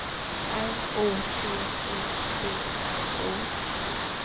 R O T E B R O